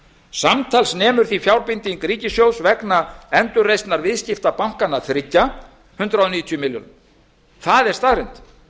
samtals nemur því fjárbinding ríkissjóð vegna endurreisnar viðskiptabankanna þriggja hundrað níutíu milljörðum það er staðreynd